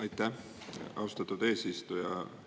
Aitäh, austatud eesistuja!